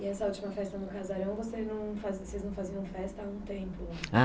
E essa última festa no casarão, vocês não faziam festa há um tempo?